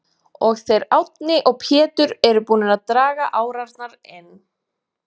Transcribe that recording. og þeir Árni og Pétur eru búnir að draga árarnar inn.